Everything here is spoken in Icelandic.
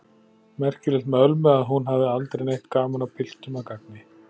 Merkilegt með Ölmu að hún hafði aldrei neitt gaman af piltum að gagni.